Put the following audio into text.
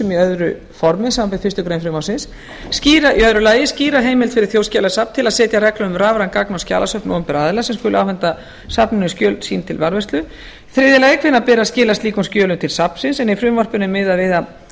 í öðru formi samanber fyrstu grein frumvarpsins annars skýra heimild fyrir þjóðskjalasafn til að setja reglur um rafræn gagna og skjalasöfn opinberra aðila sem skuli afhenda safninu skjöl sín til varðveislu þriðja hvenær beri að skila slíkum skjölum til safnsins en í frumvarpinu er miðað við að skjöl